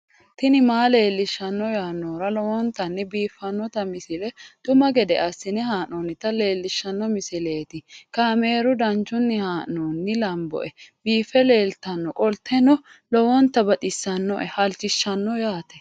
tini maa leelishshanno yaannohura lowonta biiffanota misile xuma gede assine haa'noonnita leellishshanno misileeti kaameru danchunni haa'noonni lamboe biiffe leeeltannoqolten lowonta baxissannoe halchishshanno yaate